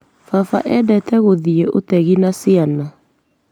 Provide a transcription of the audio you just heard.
Baba endete gũthiĩ ũtegi na ciana.